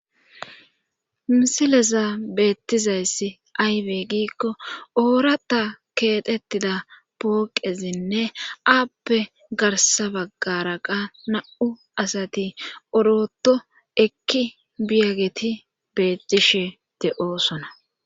Misileza beettizayssi aywey giikko oorata keetettida pooqezinne aappe garsa baggara qa na7u asati oroto ekki biyageti bettishe de7osona